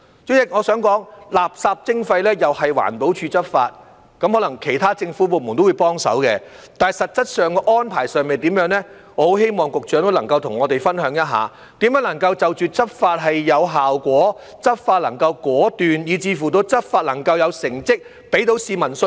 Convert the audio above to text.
主席，我想指出，垃圾徵費由環保署執法，可能其他政府部門都會幫手，但實質安排如何，我很希望局長可以跟我們分享，告訴我們如何能使執法有效果，執法能果斷，以至執法能有成績，給市民信心。